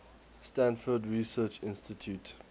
stanford research institute